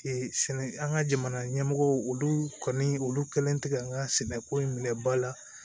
sɛnɛ an ka jamana ɲɛmɔgɔw olu kɔni olu kɛlen tɛ ka an ka sɛnɛko in minɛ ba la